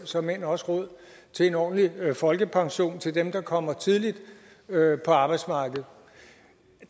såmænd også råd til en ordentlig folkepension til dem der kommer tidligt på arbejdsmarkedet